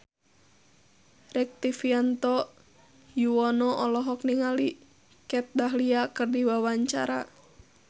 Rektivianto Yoewono olohok ningali Kat Dahlia keur diwawancara